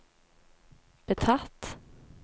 betatt